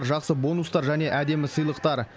жақсы бонустар және әдемі сыйлықтар